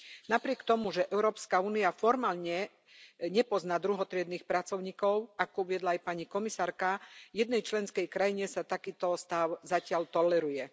Napriek tomu, že Európska únia formálne nepozná druhotriednych pracovníkov, ako uviedla aj pani komisárka, jednej členskej krajine sa takýto stav zatiaľ toleruje.